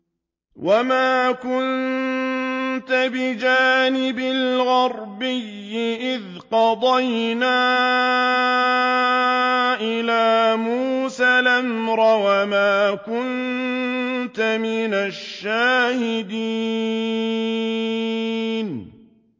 وَمَا كُنتَ بِجَانِبِ الْغَرْبِيِّ إِذْ قَضَيْنَا إِلَىٰ مُوسَى الْأَمْرَ وَمَا كُنتَ مِنَ الشَّاهِدِينَ